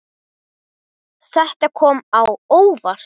Þetta kom á óvart.